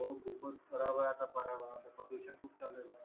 हो खूपच खरब आहे आता पर्यावरणाचा प्रदूषण खूप झालेला आहे